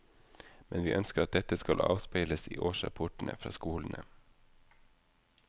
Men vi ønsker at dette skal avspeiles i årsrapportene fra skolene.